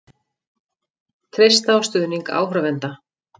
Treysta á stuðning áhorfenda